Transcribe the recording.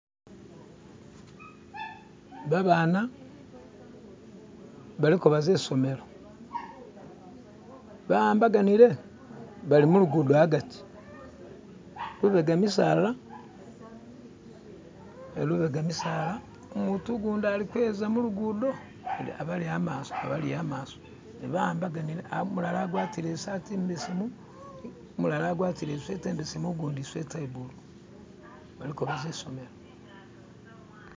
babana baliko baza isomelo bahambaganile balimulugudo agati lubega misaala lubega misaala umutu gundi ali kweza mulugudo abali amaso nebawambaganile umulala agwatile isati imbesemu umulala agwatile isweta imbesemu ugundi isweta iyabulu balikobaza isomelo